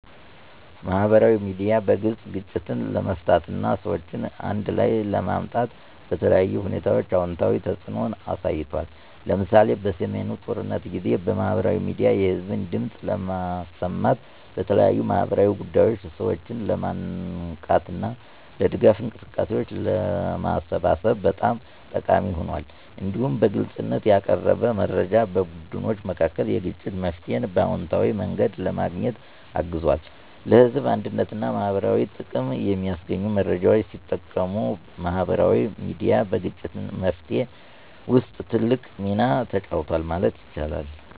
ማህበራዊ ሚዲያ በግልጽ ግጭትን ለመፍታት እና ሰዎችን አንድ ላይ ለማምጣት በተለያዩ ሁኔታዎች አዎንታዊ ተጽዕኖ አሳይቷል። ለምሳሌ፣ በሰሜኑ ጦርነት ጊዜ ማህበራዊ ሚዲያ የህዝብን ድምፅ ለማሰማት፣ ለተለያዩ ማህበራዊ ጉዳዮች ሰዎችን ለማንቃት እና ለድጋፍ እንቅስቃሴዎች ለማሰባሰብ በጣም ጠቃሚ ሆኗል። እንዲሁም በግልጽነት ያቀረበ መረጃ በቡድኖች መካከል የግጭት መፍትሄን በአዎንታዊ መንገድ ለማግኘት አግዟል። ለህዝብ አንድነትና ማህበረሰባዊ ጥቅም የሚያስገኙ መረጃዎችን ሲጠቀሙ ማህበራዊ ሚዲያ በግጭት መፍትሄ ውስጥ ትልቅ ሚና ተጫውቷል ማለት ይቻላል።